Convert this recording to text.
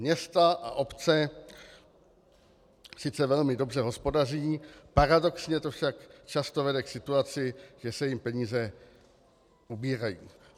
Města a obce sice velmi dobře hospodaří, paradoxně to však často vede k situaci, že se jim peníze ubírají.